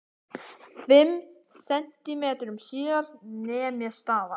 Fimm sentímetrum síðar nem ég staðar.